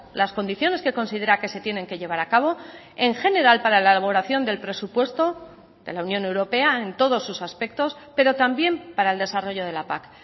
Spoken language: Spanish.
las condiciones que considera que se tienen que llevar a cabo en general para la elaboración del presupuesto de la unión europea en todos sus aspectos pero también para el desarrollo de la pac